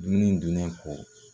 Dumuniw dunnen kɔ